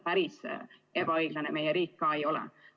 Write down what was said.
Päris ebaõiglane meie riik ka ei ole.